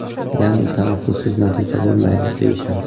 Ya’ni, tanaffussiz natija bo‘lmaydi deyishadi.